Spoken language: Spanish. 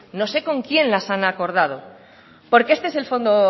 no sé con quién las han acordado porque este es el fondo